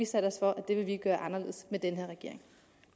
sat os for at det vil vi gøre anderledes i den her regering